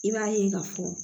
I b'a ye ka fɔ